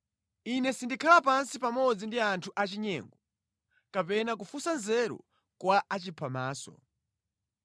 Ine sindikhala pansi pamodzi ndi anthu achinyengo, kapena kufunsa nzeru kwa achiphamaso.